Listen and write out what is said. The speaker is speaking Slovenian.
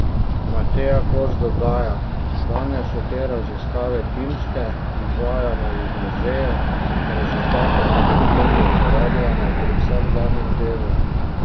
Mateja Kos dodaja: "Danes so te raziskave timske, izvajamo jih v muzeju, rezultate pa potem uporabljamo pri vsakdanjem delu.